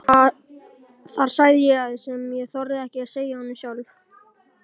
Þar sagði ég það sem ég þorði ekki að segja honum sjálf.